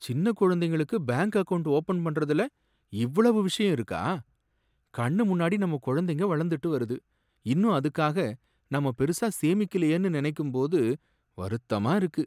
சின்ன குழந்தைகளுக்கு bank account open பண்றதுல இவ்வளவு விஷயம் இருக்கா! கண்ணு முன்னாடி நம்ம குழந்தை வளர்ந்துட்டு வருது, இன்னும் அதுக்காக நம்ம பெருசா சேமிக்கலையே நினைக்கும்போது வருத்தமா இருக்கு.